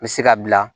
N bɛ se ka bila